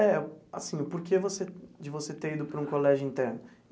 É, assim, o porquê você de você ter ido para um colégio interno?